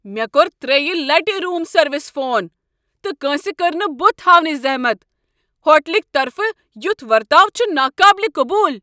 مےٚ كو٘ر ترٛیٚیہ لٹہ روم سروسہِ فون، تہٕ کٲنٛسہ كٔر نہٕ بُتھ ہاونٕچہِ ذہمتھ۔ ہوٹلٕکہ طرفہٕ یُتھ ورتاو چھُ نا قابلہِ قبوٗل۔